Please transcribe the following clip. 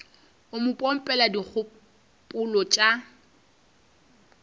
o mo pompela dikgopolo tša